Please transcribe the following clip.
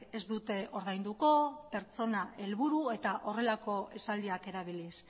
ez dute ordainduko pertsona helburua eta horrelako esaldiak erabiliz